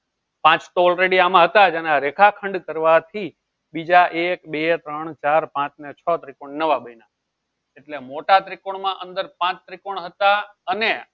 પાંચ તો already આમાં હતા જ અને આ રેખાખંડ કરવાથી બીજા એક બે ત્રણ ચાર પાંચ ને છ ત્રિકોણ નવા બન્યા એટલે મોટા ત્રિકોણમાં અંદર પાંચ ત્રિકોણ હતા અને